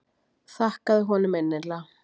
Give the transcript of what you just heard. Þakkaði honum mikillega.